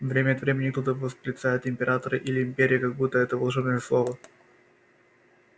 время от времени кто-то восклицает император или империя как будто это волшебные слова